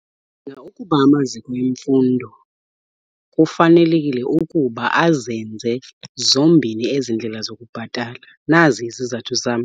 Ndicinga ukuba amaziko emfundo kufanelekile ukuba azenze zombini ezi ndlela zokubhatala. Nazi izizathu zam.